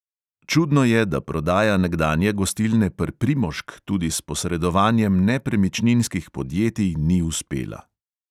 Čudno je, da prodaja nekdanje gostilne pr" primožk tudi s posredovanjem nepremičninskih podjetij ni uspela.